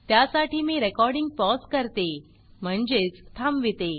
त्यासाठी मी recording pause करते म्हणजेच थांबवीते